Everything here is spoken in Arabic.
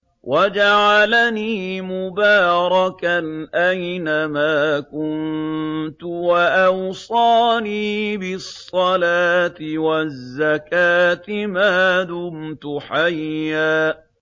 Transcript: وَجَعَلَنِي مُبَارَكًا أَيْنَ مَا كُنتُ وَأَوْصَانِي بِالصَّلَاةِ وَالزَّكَاةِ مَا دُمْتُ حَيًّا